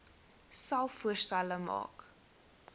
selfs voorstelle maak